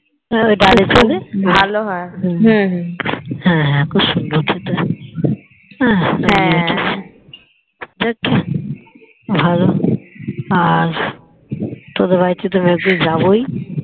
বাইরের থেকে ভালো হয় হ্যাঁ হ্যাঁ খুবসুন্দর খেতে হয়ে আর ভালো আর তোদের বাড়িতে তো একবর যাবোই